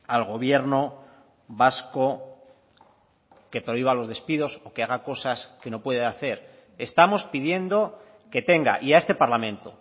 al gobierno vasco que prohíba los despidos o que haga cosas que no puede hacer estamos pidiendo que tenga y a este parlamento